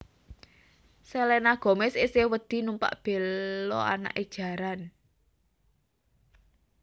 Selena Gomez isih wedi numpak belo anake jaran